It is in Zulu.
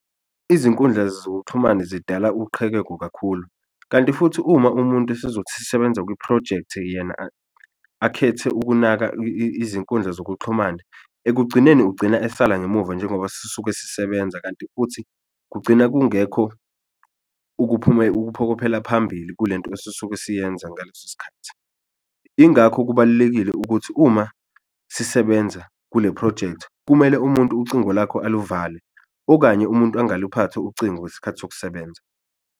Izinkundla zokuxhumana zidala uqhekeko kakhulu kanti futhi uma umuntu esezosebenza kwiphrojekthi yena akhethe ukunaka izinkundla zokuxhumana, ekugcineni ugcina esala ngemuva njengoba sisuke sisebenza kanti futhi kugcina kungekho ukuphokophela phambili kule nto esisuke siyenza ngaleso sikhathi. Ingakho kubalulekile ukuthi uma sisebenza kule phrojekthi kumele umuntu ucingo lakho aluvale okanye umuntu angaluphathi ucingo ngesikhathi sokusebenza.